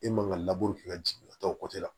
E man ka ka jigin ka taa o la